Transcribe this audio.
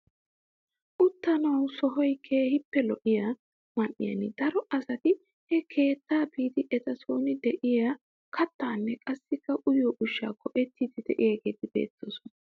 Uttanawu sohoy keehippe lo"iyoo man"iyaan daro asati he keettaa biidi eta soni de'iyaa kattaanne qassi uyiyoo ushshaa go"ettiidi de'iyaageti beettoosona.